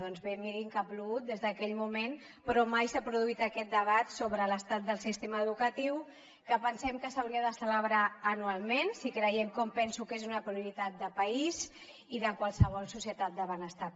doncs bé mirin que ha plogut des d’aquell moment però mai s’ha produït aquest debat sobre l’estat del sistema educatiu que pensem que s’hauria de celebrar anualment si creiem com penso que és una prioritat de país i de qualsevol societat del benestar